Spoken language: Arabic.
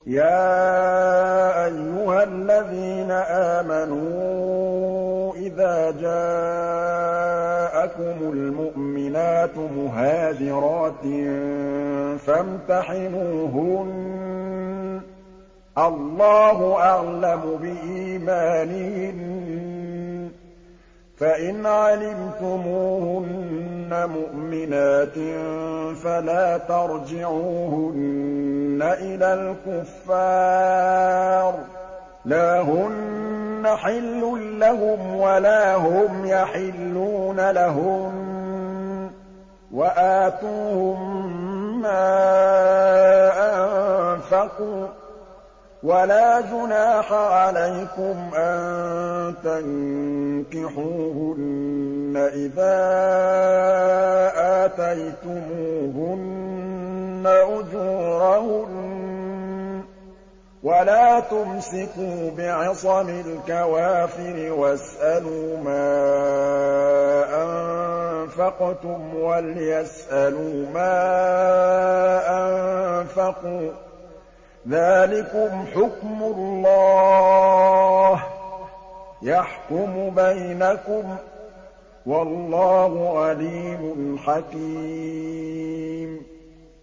يَا أَيُّهَا الَّذِينَ آمَنُوا إِذَا جَاءَكُمُ الْمُؤْمِنَاتُ مُهَاجِرَاتٍ فَامْتَحِنُوهُنَّ ۖ اللَّهُ أَعْلَمُ بِإِيمَانِهِنَّ ۖ فَإِنْ عَلِمْتُمُوهُنَّ مُؤْمِنَاتٍ فَلَا تَرْجِعُوهُنَّ إِلَى الْكُفَّارِ ۖ لَا هُنَّ حِلٌّ لَّهُمْ وَلَا هُمْ يَحِلُّونَ لَهُنَّ ۖ وَآتُوهُم مَّا أَنفَقُوا ۚ وَلَا جُنَاحَ عَلَيْكُمْ أَن تَنكِحُوهُنَّ إِذَا آتَيْتُمُوهُنَّ أُجُورَهُنَّ ۚ وَلَا تُمْسِكُوا بِعِصَمِ الْكَوَافِرِ وَاسْأَلُوا مَا أَنفَقْتُمْ وَلْيَسْأَلُوا مَا أَنفَقُوا ۚ ذَٰلِكُمْ حُكْمُ اللَّهِ ۖ يَحْكُمُ بَيْنَكُمْ ۚ وَاللَّهُ عَلِيمٌ حَكِيمٌ